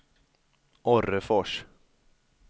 Orrefors